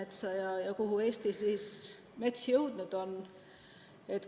Kuhu ikkagi Eesti mets jõudnud on?